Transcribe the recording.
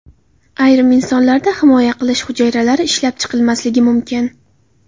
Ayrim insonlarda himoya qilish hujayralari ishlab chiqilmasligi mumkin.